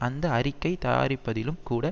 அந்த அறிக்கை தயாரிப்பதிலும் கூட